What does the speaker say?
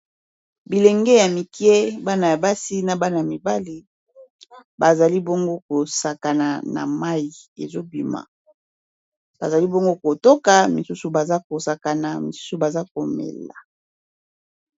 Bilenge ya mikie bana ya basi na bana ya mibale bazali bongo kosakana na mayi ezobima bazali bongo kotoka misusu baza kosakana misusu baza komela.